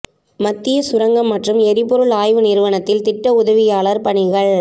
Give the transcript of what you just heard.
மத்திய சுரங்கம் மற்றும் எரிபொருள் ஆய்வு நிறுவனத்தில் திட்ட உதவியாளர் பணிகள்